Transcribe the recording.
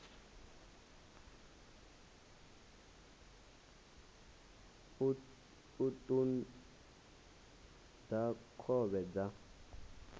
u ṱun ḓa khovhe dza